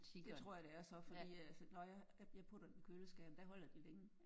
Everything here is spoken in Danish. Det tror jeg det er så fordi altså når jeg jeg putter dem i køleskabet der holder de længe